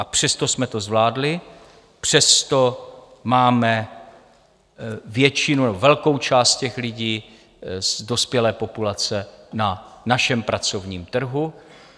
A přesto jsme to zvládli, přesto máme většinu nebo velkou část těch lidí z dospělé populace na našem pracovník trhu.